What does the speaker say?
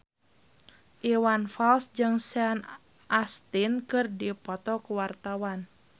Iwan Fals jeung Sean Astin keur dipoto ku wartawan